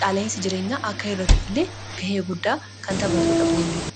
qaala'insi jireenyaa akka irratufillee gahee guddaa kan taphatuudha boondiin.